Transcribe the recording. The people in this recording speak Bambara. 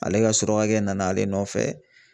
Ale ka surakakɛ nana ale nɔfɛ